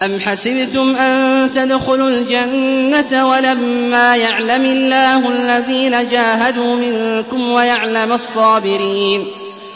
أَمْ حَسِبْتُمْ أَن تَدْخُلُوا الْجَنَّةَ وَلَمَّا يَعْلَمِ اللَّهُ الَّذِينَ جَاهَدُوا مِنكُمْ وَيَعْلَمَ الصَّابِرِينَ